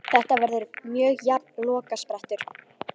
Þetta verður mjög jafn lokasprettur.